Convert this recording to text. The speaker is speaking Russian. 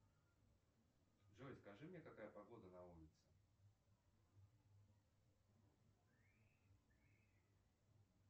джой скажи мне какая погода на улице